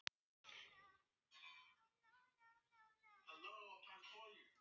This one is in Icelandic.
Og samt átti hann okkur mömmu.